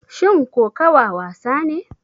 Shin kokawa wasa ne?